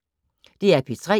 DR P3